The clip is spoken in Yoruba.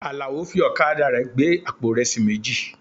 Àlàó fi ọ̀kadà rẹ̀ gbé àpò ìrẹsì méjì.